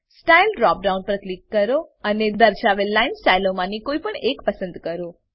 style drop down પર click કરો અને દર્શાવેલ લાઈન સ્ટાઈલોમાંની કોઈપણ એકને પસંદ કરો